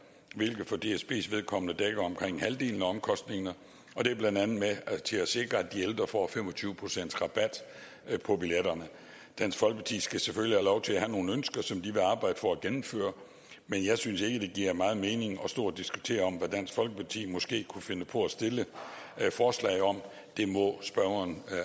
hvilket for dsbs vedkommende dækker omkring halvdelen af omkostningerne og det er blandt andet med til at sikre at de ældre får fem og tyve pcts rabat på billetterne dansk folkeparti skal selvfølgelig have lov til at have nogle ønsker som de vil arbejde for at gennemføre men jeg synes ikke det giver meget mening at stå og diskutere hvad dansk folkeparti måske kunne finde på at stille forslag om det må spørgeren